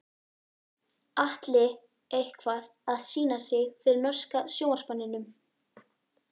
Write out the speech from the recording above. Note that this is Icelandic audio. Atli eitthvað að sýna sig fyrir norska sjónvarpsmanninum?